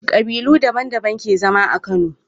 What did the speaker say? Kabilu daban daban ke zama a kano